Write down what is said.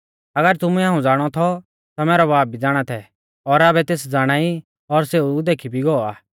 अगर तुमुऐ हाऊं ज़ाणौ थौ ता मैरौ बाब भी ज़ाणा थै और आबै तेस ज़ाणाई और सेऊ देखी भी गौ आ